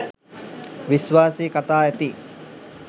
විශ්වාසී කතා ඇති